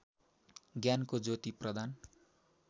ज्ञानको ज्योति प्रदान